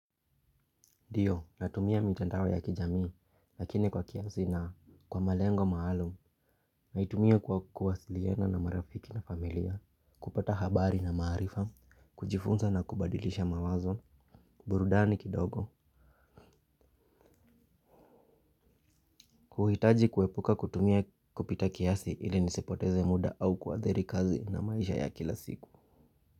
Ndio natumia mitandao ya kijamii lakini kwa kiasi na kwa malengo maalum. Naitumia kwa kuwasiliana na marafiki na familia. Kupata habari na maarifa. Kujifunza na kubadilisha mawazo. Burudani kidogo. Kuhitaji kuepuka kutumia kupita kiasi ili nisipoteze muda au kuadhiri kazi na maisha ya kila siku.